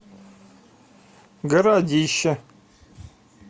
городище